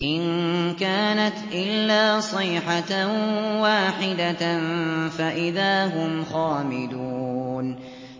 إِن كَانَتْ إِلَّا صَيْحَةً وَاحِدَةً فَإِذَا هُمْ خَامِدُونَ